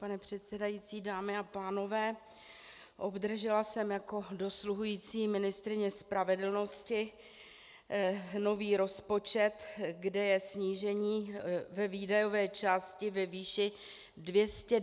Pane předsedající, dámy a pánové, obdržela jsem jako dosluhující ministryně spravedlnosti nový rozpočet, kde je snížení ve výdajové části ve výši 292 mil. korun.